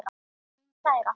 Mín kæra.